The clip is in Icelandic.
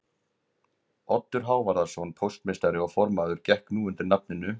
Oddur Hávarðarson póstmeistari og formaður gekk nú undir nafninu